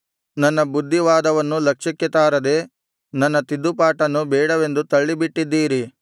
ನನ್ನ ಬುದ್ಧಿವಾದವನ್ನು ಲಕ್ಷ್ಯಕ್ಕೆ ತಾರದೆ ನನ್ನ ತಿದ್ದುಪಾಟನ್ನು ಬೇಡವೆಂದು ತಳ್ಳಿಬಿಟ್ಟಿದ್ದೀರಿ